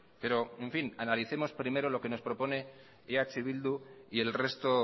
pero analicemos primero lo que nos propone eh bildu y el resto